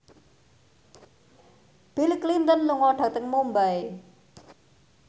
Bill Clinton lunga dhateng Mumbai